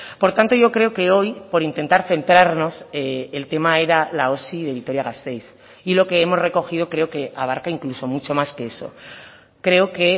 por tanto yo creo que hoy por intentar centrarnos el tema era la osi de vitoria gasteiz y lo que hemos recogido creo que abarca incluso mucho más que eso creo que